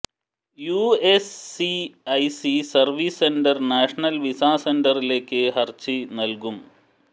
USCIS service centre national visa സെന്ററിലേക്ക് ഹർജി നൽകും